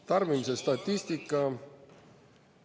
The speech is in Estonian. Tarbimise statistika …